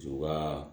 Juru ka